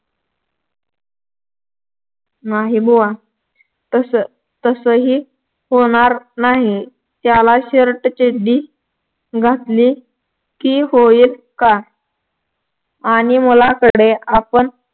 नाही बुवा तसं तसही होणार नाही त्याला shirt चड्डी घातली कि होईल का आणि मुलाकडे आपण